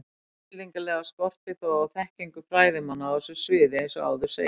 Tilfinnanlega skortir þó á þekkingu fræðimanna á þessu sviði eins og áður segir.